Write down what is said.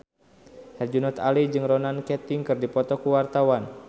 Herjunot Ali jeung Ronan Keating keur dipoto ku wartawan